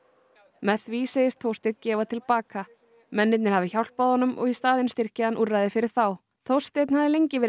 með því segist Þórsteinn gefa til baka mennirnir hafi hjálpað honum og í staðinn styrki hann úrræði fyrir þá Þórsteinn hafði lengi verið